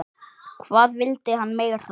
Hvað vildi hann meira?